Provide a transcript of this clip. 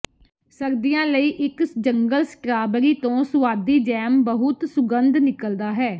ਸਰਦੀਆਂ ਲਈ ਇੱਕ ਜੰਗਲ ਸਟਰਾਬਰੀ ਤੋਂ ਸੁਆਦੀ ਜੈਮ ਬਹੁਤ ਸੁਗੰਧ ਨਿਕਲਦਾ ਹੈ